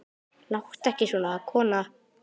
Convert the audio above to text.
Láttu ekki svona, kona.